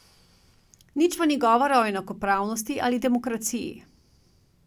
Nič pa ni govora o enakopravnosti ali demokraciji.